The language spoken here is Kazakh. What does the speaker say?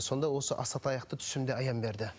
сонда осы асатаяқты түсімде аян берді